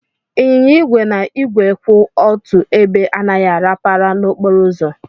Ịnyịnya igwe na igwe kwụ otu ebe anaghị arapara n'okporo ụzọ.